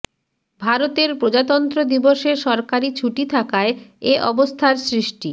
ভারতের প্রজাতন্ত্র দিবসে সরকারি ছুটি থাকায় এ অবস্থার সৃষ্টি